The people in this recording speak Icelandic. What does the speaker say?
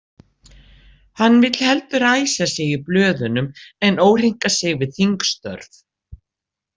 Hann vill heldur æsa sig í blöðunum en óhreinka sig við þingstörf.